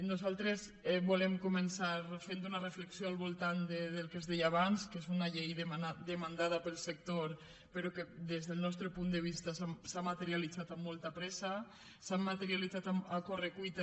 nosaltres volem començar fent una reflexió al voltant del que es deia abans que és una llei demandada pel sector però que des del nostre punt de vista s’ha materialitzat amb molta pressa s’ha materialitzat a correcuita